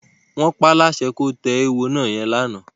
Wọ́n paáláṣẹ kó tẹ eéwo yẹn lánàá.